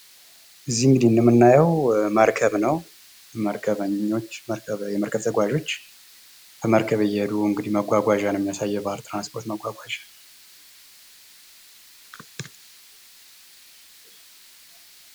እዚህ ምስል ላይ የምናየው መርከብ ነው ።ይህ መርከብ ተጓዦችን ይዞ በባህር ላይ እየተጓዘ ነዉ የሚታየው።